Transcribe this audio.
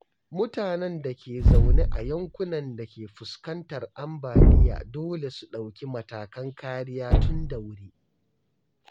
Mutanen da ke zaune a yankunan da ke fuskantar ambaliya dole su ɗauki matakan kariya tun da wuri.